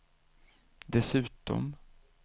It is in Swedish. dessutom